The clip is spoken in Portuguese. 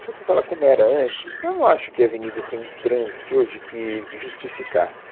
Se você falar como era antes, eu não acho que a Avenida tem um trânsito hoje que que justificasse.